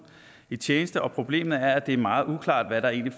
i tjeneste problemet er at det er meget uklart hvad der egentlig